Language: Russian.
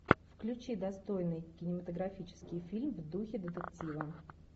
включи достойный кинематографический фильм в духе детектива